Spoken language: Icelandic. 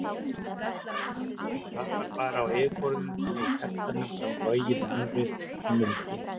En það var bara á yfirborðinu því að í hjartanu brann logi mannvits og mildi.